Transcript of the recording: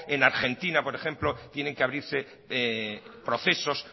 en argentina por ejemplo tienen que abrirse procesos